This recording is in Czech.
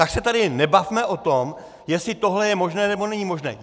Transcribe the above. Tak se tady nebavme o tom, jestli tohle je možné, nebo není možné.